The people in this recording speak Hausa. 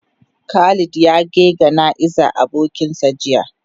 Khalid ya ge gana'iza abokin sa jiya.